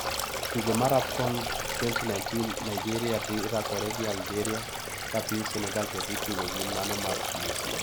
Tugo mar AFCON 2019 Nigeria dhi rakore gi Algeria ka piny Senegal to dhi tugo gi mano mar Tunisia.